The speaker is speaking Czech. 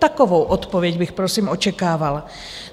Takovou odpověď bych prosím očekávala.